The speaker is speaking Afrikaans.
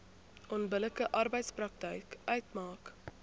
onbillike arbeidspraktyk uitmaak